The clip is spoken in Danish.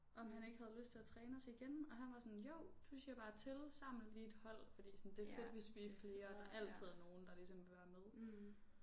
Om han ikke havde lyst til at træne os igen og han var sådan jo du siger bare til saml lige et hold fordi sådan det er fedt hvis vi er flere og der altid er nogen der ligesom vil være med